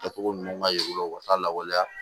Kɛcogo ɲuman ye u la u ka lawaleya